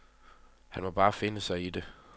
Han må bare finde sig i det.